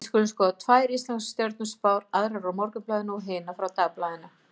Við skulum skoða tvær íslenskar stjörnuspár, aðra úr Morgunblaðinu og hina frá Dagblaðinu.